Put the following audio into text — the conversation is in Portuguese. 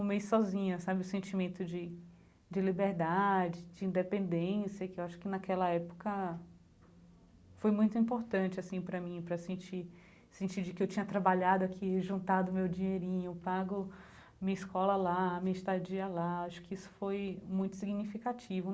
um mês sozinha sabe, o sentimento de de liberdade, de independência, que eu acho que naquela época foi muito importante assim para mim, para sentir sentir de que eu tinha trabalhado aqui, juntado meu dinheirinho, pago minha escola lá, minha estadia lá, acho que isso foi muito significativo.